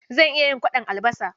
Zan iya yin kwaɗon albasa.